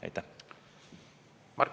Aitäh!